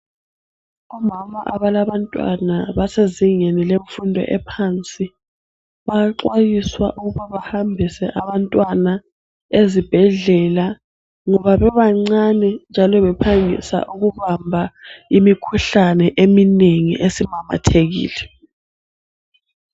Omama abalabantwana basezingeni lemfundo ephansi bayaxwayiswa ukuba bahambise abantwana ezibhedlela ngoba bebancani njalo bephangisa ukubamba imikhuhlane eminengi esimemethekile.